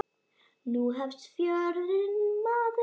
Nú hefst fjörið, maður.